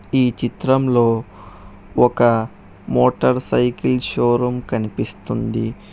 ఈ చిత్రంలో ఒక మోటార్ సైకిల్ షోరూం కనిపిస్తుంది.